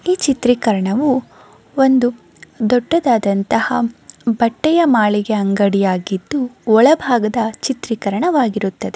ಈ ಚಿತ್ರೀಕರಣವೂ ಒಂದು ದೊಡ್ಡದಾದಂತಹ ಬಟ್ಟೆಯ ಮಾಳಿಗೆ ಅಂಗಡಿಯಾಗಿದ್ದು ಒಳಭಾಗದ ಚಿತ್ರೀಕರಣವಾಗಿರುತ್ತದೆ.